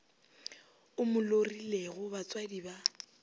o mo lorilego batswadi ba